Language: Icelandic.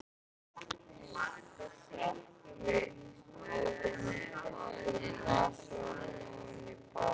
Sökkvi höfðinu upp að nasaholum ofan í baðvatnið.